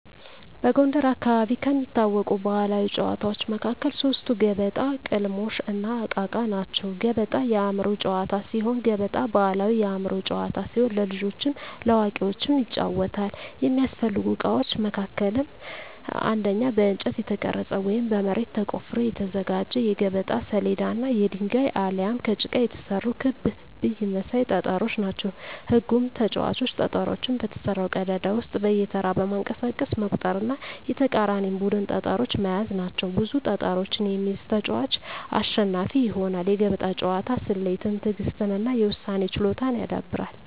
በጎንደር አካባቢ ከሚታወቁ ባሕላዊ ጨዋታዎች መካከል ሶስቱ ገበጣ፣ ቅልሞሽ፣ እና እቃ እቃ ናቸው። ገበጣ የአእምሮ ጨዋታ ሲሆን ገበጣ ባሕላዊ የአእምሮ ጨዋታ ሲሆን ለልጆችም ለአዋቂዎችም ይጫወታል። የሚያስፈልጉ እቃዎች መካከልም አንደኛ በእንጨት የተቀረጸ ወይም በመሬት ተቆፍሮ የተዘጋጀ የገበጣ ሰሌዳ እና የድንጋይ አሊያም ከጭቃ የተሰሩ ክብ ብይ መሳይ ጠጠሮች ናቸው። ህጉም ተጫዋቾች ጠጠሮቹን በተሰራው ቀዳዳ ውስጥ በየተራ በማንቀሳቀስ መቁጠር እና የተቃራኒን ቡድን ጠጠሮች መያዝ ናቸው። ብዙ ጠጠሮችን የሚይዝ ተጫዋች አሸናፊ ይሆናል። የገበጣ ጨዋታ ስሌትን፣ ትዕግሥትን እና የውሳኔ ችሎታን ያዳብራል።